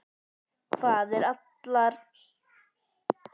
Hvað ef allar upplýsingar kæmu beint frá uppsprettunni?